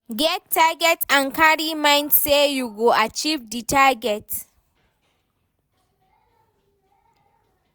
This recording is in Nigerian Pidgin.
Get target and carry mind sey you go achieve di target